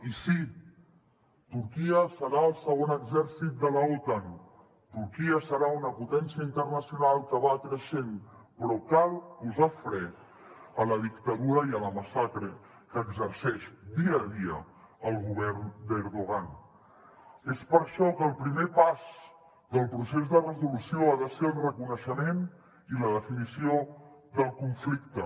i sí turquia serà el segon exèrcit de l’otan turquia serà una potència internacional que va creixent però cal posar fre a la dictadura i a la massacre que exerceix dia a dia el govern d’erdoğés per això que el primer pas del procés de resolució ha de ser el reconeixement i la definició del conflicte